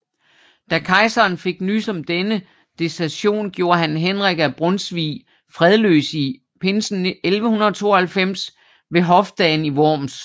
Da kejseren fik nys om denne desertion gjorde han Henrik af Brunsvig fredløs i pinsen 1192 ved hofdagen i Worms